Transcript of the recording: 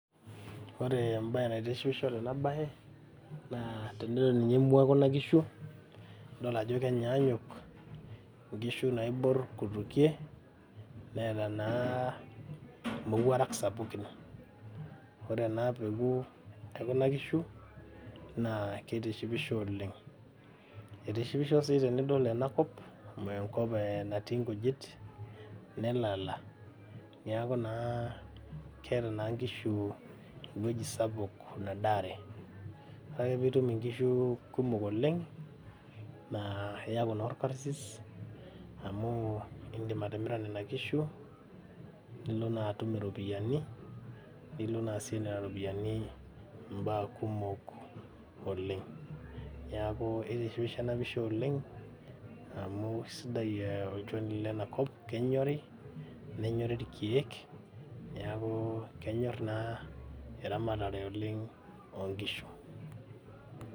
Ore embaye naitishipisho tena baye naa tenidol ninye emua ekuna kishu nidol ajo kenyaanyuk nkishu naiborr kutukie neeta naa imowuarak sapukin ore ena peku ekuna kishu naa kitishipisho oleng eitishipisho sii tenidol enakop amu enkop eh natii inkujit nelala niaku naa keeta naa inkishu ewueji sapuk nadaare ore ake piitum inkishu kumok oleng naa iyaku naa orkarsis amu indim atimira nena kishu nilo naa atum iropiyiani nilo naa aasie nena ropiyiani imbaa kumok oleng niaku itishipisho ena pisha oleng amu isidai olchoni lenakop kenyori nenyori irkeek niaku kenyorr naa eramatare oleng onkishu.